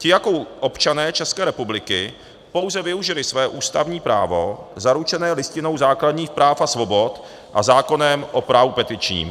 Ti jako občané České republiky pouze využili své ústavní právo zaručené Listinou základních práv a svobod a zákonem o právu petičním.